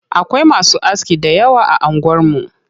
Akwai masu aski dayawa a anguwar mu.